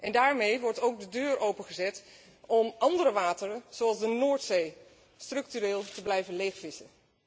En daarmee wordt ook de deur opengezet om andere wateren, zoals de Noordzee, structureel te blijven leegvissen.